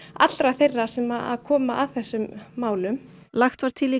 allra þeirra sem koma að þessum málum lagt var til í